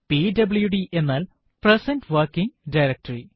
PWD എന്നാൽ present working directory